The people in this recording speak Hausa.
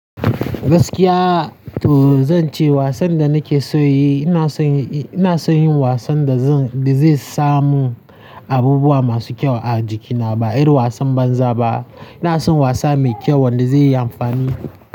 Gaskiya to zan ce wasan da nake so yi, ina son, ina son yin wasan da zan, da zai samu abubuwa masu kyau a jikina ba irin wasan banza ba. Ina son wasa mai kyau wanda zai yi amfani.